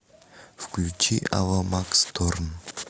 включи ава макс торн